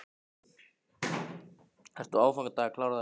Ertu á aðfangadag að klára þetta?